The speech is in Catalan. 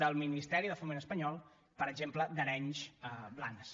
del ministeri de foment espanyol per exemple d’arenys a blanes